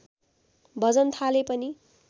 भजन थाले पनि